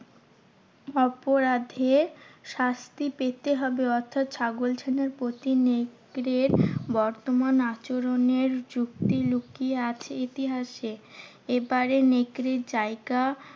অপরাধের শাস্তি পেতে হবে। অর্থাৎ ছাগল ছানার প্রতি নেকড়ের বর্তমান আচরণের যুক্তি লুকিয়ে আছে ইতিহাসে। এবারে নেকড়ের জায়গা